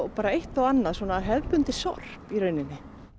bara eitt og annað svona hefðbundið sorp í rauninni